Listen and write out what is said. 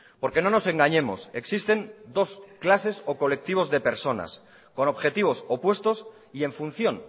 porque no nos engañemos existen dos clases o colectivos de personas con objetivos opuestos y en función